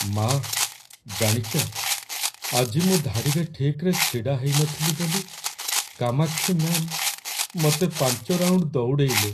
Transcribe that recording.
ମା', ଜାଣିଚ, ଆଜି ମୁଁ ଧାଡ଼ିରେ ଠିକ୍‌ରେ ଛିଡ଼ା ହେଇନଥିଲି ବୋଲି କାମାକ୍ଷୀ ମ୍ୟା'ମ୍ ମତେ ୫ ରାଉଣ୍ଡ ଦଉଡ଼େଇଲେ!